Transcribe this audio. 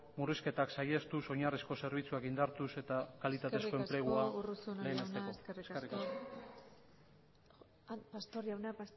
murrizketak saihestuz oinarrizko zerbitzuak indartuz eta kalitatezko enplegua lehenesteko eskerrik asko eskerrik asko urruzuno jauna pastor jauna